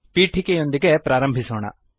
ಪೀಠಿಕೆಯೊಂದಿಗೆ ಪ್ರಾರಂಭಿಸೋಣ